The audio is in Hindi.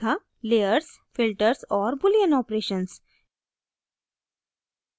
layers filters और boolean operations